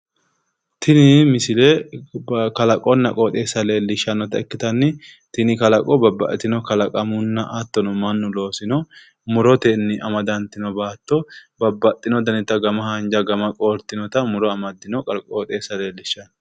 tini misile kalaqonna qoxeessa leellishshannota ikkite tini kalaqo babbaxxitino kalaqunna hattono mannu loosino muroteni amadantino baatto babbaxxino danita mite haanja mite qooertinota leellishshanno